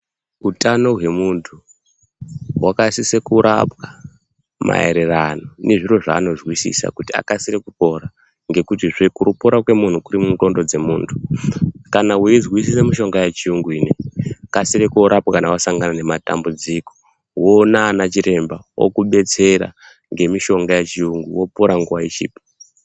Utano hwemuntu hwakasise kurapwa maererano nezviro zvanozwisisa kuti akasire kupora ngekutizve kupora kwemuntu kuri mundxondo dzemuntu kana weizwisisa mishonga yechiyungu ineyi kasire koorapwa kana wasangana nematambudziko woona anachiremba okubetsera ngemishonga yechiyungu wopora nguwa ichipo.